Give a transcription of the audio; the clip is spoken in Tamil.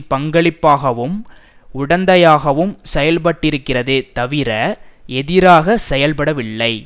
பங்காளியாகவும் உடந்தையாகவும் செயல்பட்டிருக்கிறதே தவிர எதிராக செயல்படவில்லை